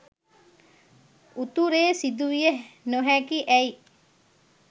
උතුරේ සිදුවිය නොහැකි ඇයි?